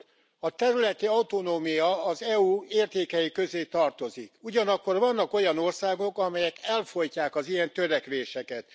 Elnök Úr! A területi autonómia az EU értékei közé tartozik, ugyanakkor vannak olyan országok, amelyek elfojtják az ilyen törekvéseket.